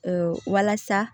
walasa